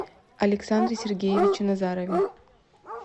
александре сергеевиче назарове